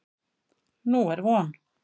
Nú er von.